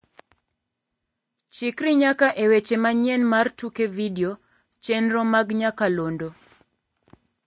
Chikri nyaka e weche manyien mar tuke video chenro mag nyakalondo.